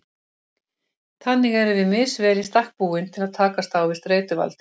Þannig erum við misvel í stakk búin til að takast á við streituvaldinn.